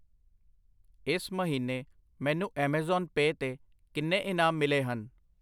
ਇਸ ਮਹੀਨੇ ਮੈਨੂੰ ਐਮਾਜ਼ਾਨ ਪੈ ਤੇ ਕਿੰਨੇ ਇਨਾਮ ਮਿਲੇ ਹਨ?